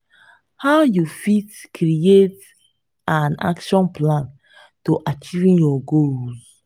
how you fit create an action plan to achieve your goals?